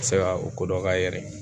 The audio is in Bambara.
Se ka o kodɔn k'a yɛrɛ ye